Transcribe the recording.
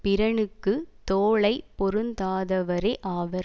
பிறனுக்கு தோளை பொருந்தாதவரே ஆவர்